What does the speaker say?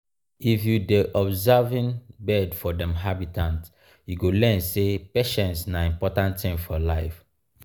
if you dey observing birds for dem habitat you go learn sey patience na important thing for life.